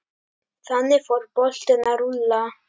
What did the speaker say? Þannig fór boltinn að rúlla.